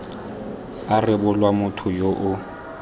a rebolwa motho yo o